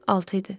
6 idi.